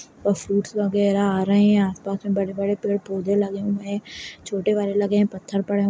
और फ्रूइट्स वगैरह आ रहे हैं आसपास में बड़े-बड़े पेड़ पौधे लगे हुए हैं छोटे वाले लगे हैं पत्थर पड़े --